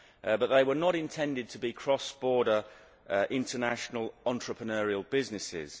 But they were not intended to be cross border international entrepreneurial businesses.